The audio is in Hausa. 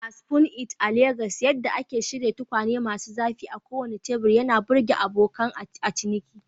A Spoon It a Legas, yadda ake shirya tukwane masu zafi a kowane teburi ya burge abokan ciniki.